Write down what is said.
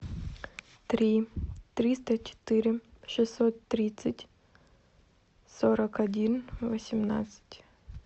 три триста четыре шестьсот тридцать сорок один восемнадцать